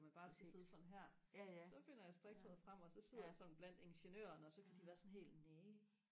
og man bare skal sidde sådan her så finder jeg strikketøjet frem og så sidder jeg sådan blandt ingeniøren og så kan de være sådan helt næ